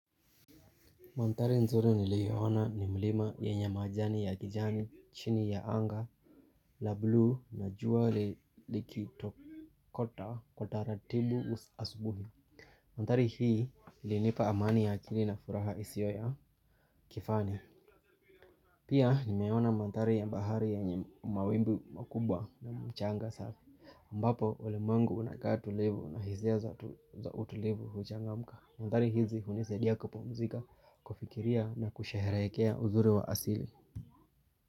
Manthari nzuri niliyoona ni mlima yenye majani ya kijani, chini ya anga, la bluu na jua li likitokota kwa taratibu asubuhi. Mantari hii ilinipa amani ya akili na furaha isio ya kifani. Pia nimeona manthari ya bahari yenye mawimbi makubwa na mchanga safi. aMbapo ulimwengu unakaa tulivu na hisia za utulivu huchangamka. Mandhari hizi hunisadia kupumzika, kufikiria na kusheherekea uzuri wa asili.